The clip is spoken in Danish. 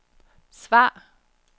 svar